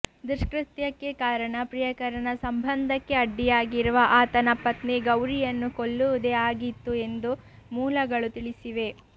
ದುಷ್ಕೃತ್ಯಕ್ಕೆ ಕಾರಣ ಪ್ರಿಯಕರನ ಸಂಬಂಧಕ್ಕೆ ಅಡ್ಡಿಯಾಗಿರುವ ಆತನ ಪತ್ನಿ ಗೌರಿಯನ್ನು ಕೊಲ್ಲುವುದೇ ಆಗಿತ್ತು ಎಂದು ಮೂಲಗಳು ತಿಳಿಸಿವೆ